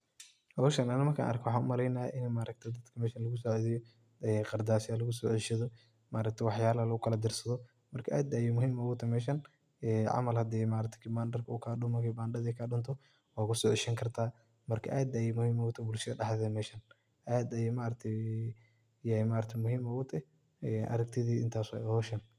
Hooshan Anika markan arkoh, waxan u malaynaya ini maaragtay hooshan lagu saceedeyoh, ee Qaardasoo lagu so ceeshadoh maaragtay waxayala la diirsadoh aad Aya muhim utahaya meshan ee camal marka Kibandarka oo kadumoh wakuso ceeshani kartah maarka aad Aya muhim u tahay bulshada daxtetha meshan aad Aya maaragtay muhim igu tahay aragtitheyda intaasi wayi.